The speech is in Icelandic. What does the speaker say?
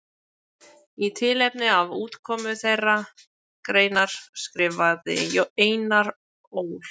Í tilefni af útkomu þeirrar greinar skrifaði Einar Ól.